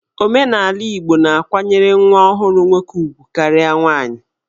Omenala Igbo na-akwanyere nwa ọhụrụ nwoke ugwu karịa nwaanyị.